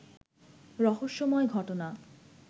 রহস্যময় ঘটনা